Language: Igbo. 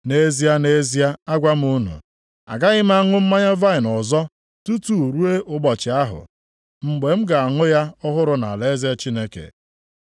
Nʼezie, nʼezie, agwa m unu, agaghị m aṅụ mmanya vaịnị ọzọ tutu ruo ụbọchị ahụ, mgbe m ga-aṅụ ya ọhụrụ nʼalaeze Chineke.”